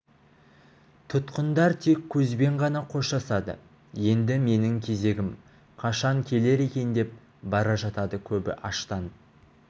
тұтқындар тек көзбен ғана қоштасады енді менің кезегім қашан келер екен деп бара жатады көбі аштан